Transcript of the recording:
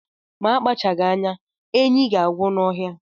Akpachaghi anya, enyi ga-agwụ n'ọhịa